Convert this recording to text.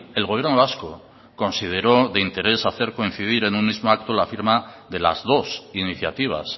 el gobierno vasco consideró de interés hacer coincidir en un mismo acto la firma de las dos iniciativas